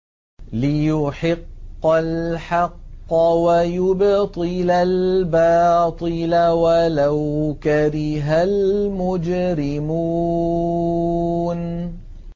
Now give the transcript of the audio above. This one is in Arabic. لِيُحِقَّ الْحَقَّ وَيُبْطِلَ الْبَاطِلَ وَلَوْ كَرِهَ الْمُجْرِمُونَ